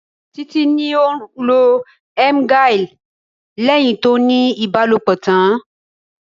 Títí ní òun lo "emgyl" lẹ́hìn tó ní ibalopo tán.